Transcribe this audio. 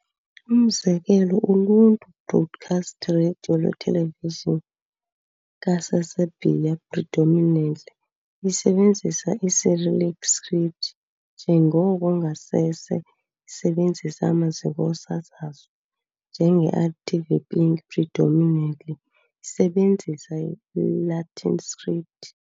Umzekelo, uluntu broadcaster, Radio Lwethelevijini ka-Saseserbia, predominantly isebenzisa i-cyrillic script njengoko ngasese sebenzisa amaziko osasazo, njenge RTV Pink, predominantly sebenzisa Latin script.